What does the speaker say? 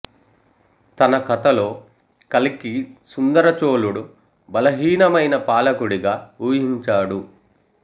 తన కథలో కల్కి సుందర చోళుడు బలహీనమైన పాలకుడిగా ఊహించాడు